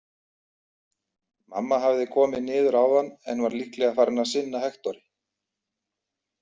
Mamma hafði komið niður áðan en var líklega farin að sinna Hektori.